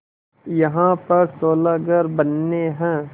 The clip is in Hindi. यहाँ पर सोलह घर बनने हैं